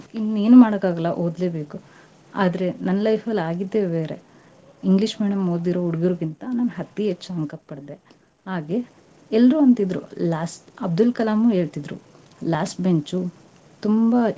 ಇನ್ ಏನ್ ಮಾಡೋಕಾಗಲ್ಲಾ, ಓದ್ಲೇ ಬೇಕು, ಆದ್ರೆ ನನ್ನ life ಅಲ್ಲಿ ಆಗಿದ್ದೇ ಬೇರೆ. english medium ಓದಿರೋ ಹುಡ್ಗರ್ಗಿಂತಾ ನಾನ್ ಅತೀ ಹೆಚ್ ಅಂಕಾ ಪಡೆದೆ. ಹಾಗೆ, ಎಲ್ರೂ ಅಂತಿದ್ರು, ಲಾಸ್ ಅಬ್ದುಲ್ ಕಲಾಮು ಹೇಳ್ತಿದ್ರು, last bench ಉ ತುಂಬಾ .